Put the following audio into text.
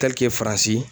faransi